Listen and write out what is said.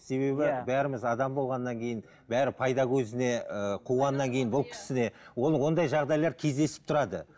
себебі иә бәріміз адам болғаннан кейін бәрі пайда көзіне ыыы қуғаннан кейін ол ондай жағдайлар кездесіп тұрады